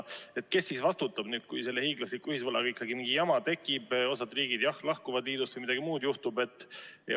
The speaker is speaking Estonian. Kes siis vastutab, kui selle hiiglasliku ühisvaraga ikkagi mingi jama tekib, osa riike lahkuvad liidust või juhtub midagi muud?